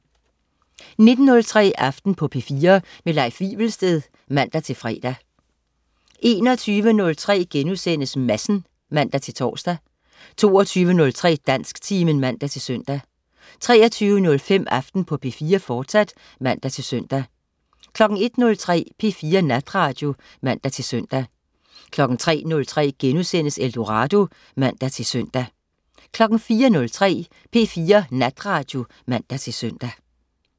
19.03 Aften på P4. Leif Wivelsted (man-fre) 21.03 Madsen* (man-tors) 22.03 Dansktimen (man-søn) 23.05 Aften på P4, fortsat (man-søn) 01.03 P4 Natradio (man-søn) 03.03 Eldorado* (man-søn) 04.03 P4 Natradio (man-søn)